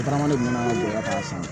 Tagalen mɔn'a gɛlɛya san